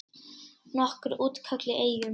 Nokkur útköll í Eyjum